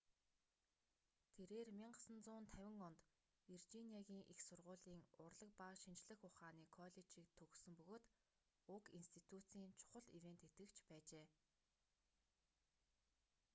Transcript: тэрээр 1950 онд виржиниагийн их сургуулийн урлаг ба шинжлэх ухааны коллежийг төгссөн бөгөөд уг институцийн чухал ивээн тэтгэгч байжээ